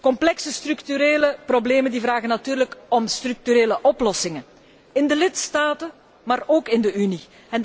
Complexe structurele problemen vragen natuurlijk om structurele oplossingen, in de lidstaten, maar ook in de Unie.